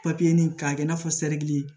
k'a kɛ i n'a fɔ sɛriki